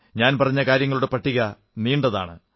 ഞാൻ പറഞ്ഞ കാര്യങ്ങളുടെ പട്ടിക നീണ്ടതാണ്